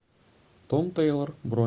том тэйлор бронь